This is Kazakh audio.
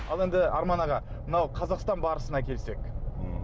ал енді арман аға мынау қазақстан барысына келсек ммм